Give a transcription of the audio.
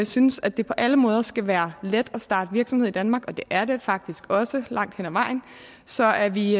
synes at det på alle måder skal være let at starte virksomhed i danmark og det er det faktisk også langt hen ad vejen så er vi